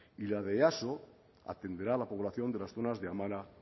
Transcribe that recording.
y la de easo atenderá a la población de las zonas de amara